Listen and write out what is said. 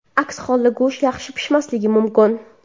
Aks holda go‘sht yaxshi pishmasligi mumkin.